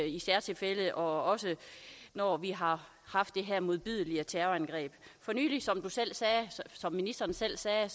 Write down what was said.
i særtilfælde og også når vi har haft det her modbydelige terrorangreb som ministeren selv sagde